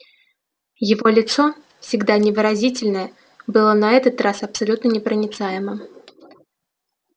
его лицо всегда невыразительное было на этот раз абсолютно непроницаемым